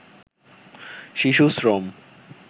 শিশু শ্রম